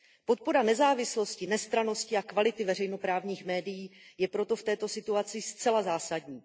Podpora nezávislosti, nestrannosti a kvality veřejnoprávních médií je proto v této situaci zcela zásadní.